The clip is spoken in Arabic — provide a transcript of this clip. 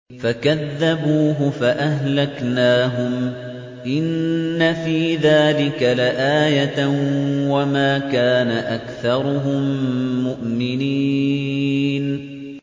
فَكَذَّبُوهُ فَأَهْلَكْنَاهُمْ ۗ إِنَّ فِي ذَٰلِكَ لَآيَةً ۖ وَمَا كَانَ أَكْثَرُهُم مُّؤْمِنِينَ